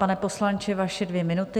Pane poslanče, vaše dvě minuty.